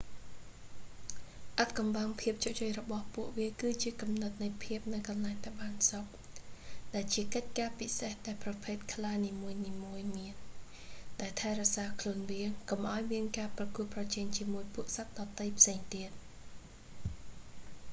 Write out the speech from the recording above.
អាថ៌កំបាំងភាពជោគជ័យរបស់ពួកវាគឺជាគំនិតនៃភាពនៅកន្លែងដែលបានសុខ ដែលជាកិច្ចការពិសេសដែលប្រភេទខ្លានីមួយៗមាន ដែលថែរក្សាខ្លួនវា កុំឱ្យមានការប្រកួតប្រជែងជាមួយពួកសត្វដទៃផ្សេងទៀត